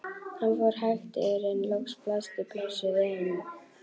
Hann fór hægt yfir en loks blasti plássið við honum.